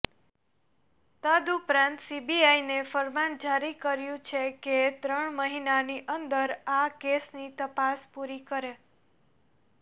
તદઉપરાંત સીબીઆઈને ફરમાન જારી કર્યું છે કે ત્રણ મહિનાની અંદર આ કેસની તપાસ પૂરી કરે